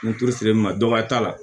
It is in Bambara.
N turu sirilenna dɔw t'a la